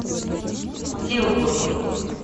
тилбург